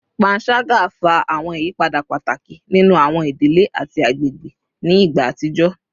Panṣaga fa awọn iyapa pataki ninu awọn idile ati agbegbe ni igba atijọ